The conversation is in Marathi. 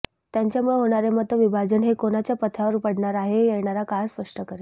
त्यांच्यामुळे होणारे मतविभाजन हे कोणाच्या पथ्यावर पडणारे आहे हे येणारा काळच स्पष्ट करेल